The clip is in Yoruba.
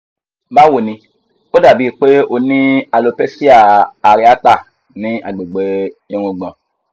bawo nì ó dà bíi pé o ní alopecia areata ní àgbègbè ìrungbon